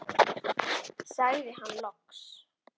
sagði hann loks.